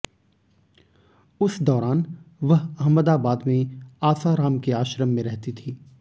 उस दौरान वह अहमदाबाद में आसाराम के आश्रम में रहती थी